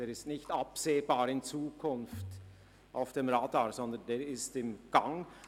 Dieser ist nicht absehbar in Zukunft auf dem Radar, sondern er ist im Gang.